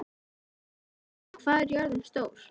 Kalmara, hvað er jörðin stór?